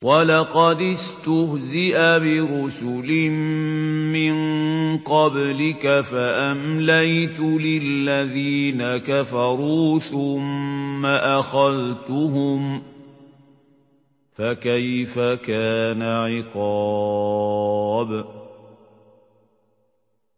وَلَقَدِ اسْتُهْزِئَ بِرُسُلٍ مِّن قَبْلِكَ فَأَمْلَيْتُ لِلَّذِينَ كَفَرُوا ثُمَّ أَخَذْتُهُمْ ۖ فَكَيْفَ كَانَ عِقَابِ